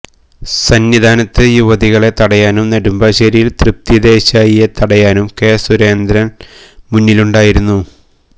സന്നിധാനത്ത് യുവതികളെ തടയാനും നെടുമ്പാശ്ശേരിയില് തൃപ്തി ദേശായിയെ തടയാനും കെ സുരേന്ദ്ര മുന്നിലുണ്ടായിരുന്നു